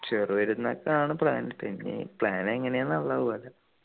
ചെറിയ പെരുന്നാക്ക് ആണ് plan ഇട്ടേ ഇനി plan എങ്ങനെയാന്നുള്ളത് പോലെ